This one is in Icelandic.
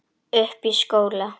Uppi í skóla?